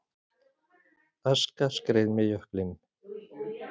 Aska skreið með jöklinum